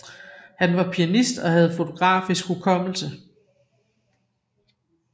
Han var pianist og havde fotografisk hukommelse